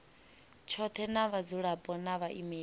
tshothe na vhadzulapo na vhaimeleli